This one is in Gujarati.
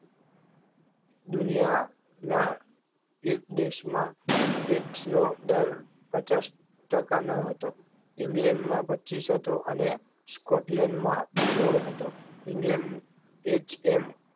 દુનિયાના એક દેશમાં એક સો દર પચાસ ટકા ન હતો ઇંગ્લેન્ડ માં પચીશ હતો અને સ્કૉપ્લેનમાં સોળ હતો ઇંગ્લેન્ડ એ એજ